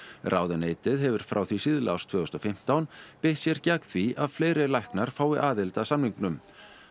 ráðuneytið hefur frá því síðla árs tvö þúsund og fimmtán beitt sér gegn því að fleiri læknar fái aðild að samningnum